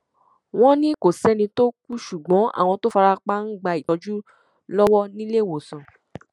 wọn ní kò sẹni tó kú ṣùgbọn àwọn tó fara pa ń gba ìtọjú lọwọ níléewọsàn